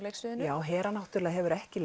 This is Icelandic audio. leiksviðinu já Hera hefur ekki